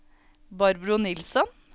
Barbro Nilsson